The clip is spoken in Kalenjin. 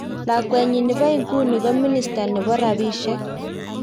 lakwenyi nepo iguni ko minister nepo rapishek